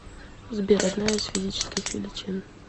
сбер одна из физических величин